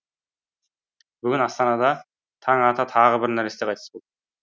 бүгін астанада таң ата тағы бір нәресте қайтыс болды